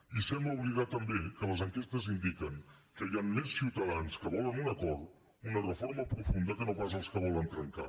i sembla oblidar també que les enquestes indiquen que hi han més ciutadans que volen un acord una reforma profunda que no pas els que volen trencar